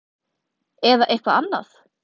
Eða eitthvað annað?